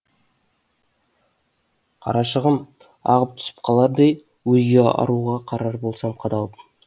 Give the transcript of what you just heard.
қарашығым ағып түсіп қалардай өзге аруға қарар болсам қадалып